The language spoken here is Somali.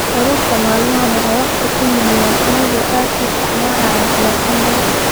Carruurta maalmahan waxay wakhti ku lumiyaan iyagoo aad u isticmaalaya telefoonada